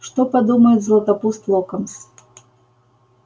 что подумает златопуст локонс